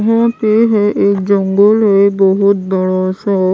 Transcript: यहाँ पे है एक जंगल है बहुत बड़ा सा।